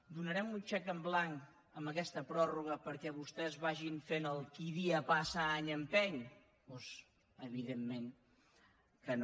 donarem un xec en blanc amb aquesta pròrroga perquè vostès facin el qui dia passa any empeny doncs evidentment que no